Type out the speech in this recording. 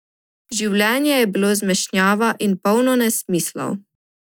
Življenje je bilo zmešnjava in polno nesmislov.